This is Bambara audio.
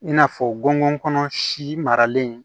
I n'a fɔ gɔngɔn kɔnɔ si maralen